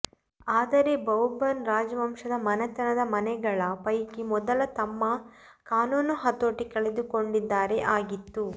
ಆದರೆ ಬೌರ್ಬನ್ ರಾಜವಂಶದ ರಾಜಮನೆತನದ ಮನೆಗಳ ಪೈಕಿ ಮೊದಲ ತಮ್ಮ ಕಾನೂನು ಹತೋಟಿ ಕಳೆದುಕೊಂಡಿದ್ದಾರೆ ಆಗಿತ್ತು